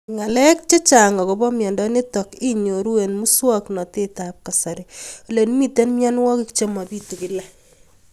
Ng'alek chechang' akopo miondo nitok inyoru eng' muswog'natet ab kasari ole mito mianwek che mapitu kila